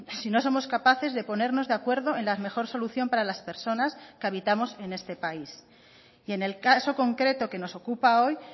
si no somos capaces de ponernos de acuerdo en la mejor solución para las personas que habitamos en este país y en el caso concreto que nos ocupa hoy